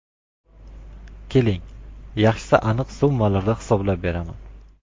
Keling, yaxshisi aniq summalarda hisoblab beraman.